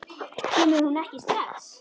Kemur hún ekki strax?